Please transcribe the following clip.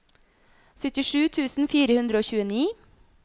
syttisju tusen fire hundre og tjueni